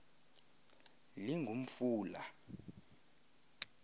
lingumfula